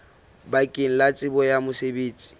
bakeng la tsebo ya mosebetsi